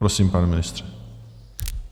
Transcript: Prosím, pane ministře.